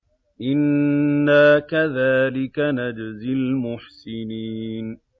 إِنَّا كَذَٰلِكَ نَجْزِي الْمُحْسِنِينَ